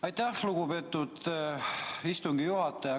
Aitäh, lugupeetud istungi juhataja!